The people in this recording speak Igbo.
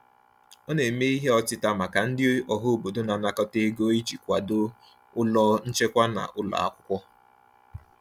Ha na-eme ihe ọtịta maka ndị ọhaobodo na-anakọta ego iji kwado ụlọ nchekwa na ụlọ akwụkwọ.